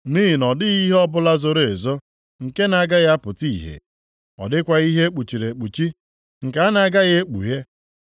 Nʼihi na ọ dịghị ihe ọbụla zoro ezo nke na-agaghị apụta ìhè, ọ dịkwaghị ihe e kpuchiri ekpuchi nke a na-agaghị ekpughe.